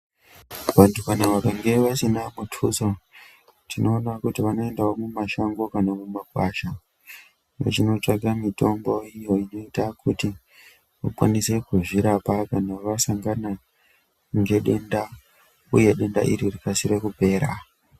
Vantu vakange vasina kutusa tinoona kuti vanoendawo kumashango kana kumakwasha vechinotsvaka mitombo iyo inoita kutivakwanise kuzvirapa kana vasangana ngedenda uye denda iri rikasire kupera